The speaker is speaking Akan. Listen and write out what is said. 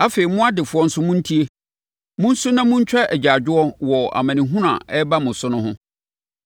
Afei, mo adefoɔ nso montie! Monsu na montwa agyaadwoɔ wɔ amanehunu a ɛreba mo so ho.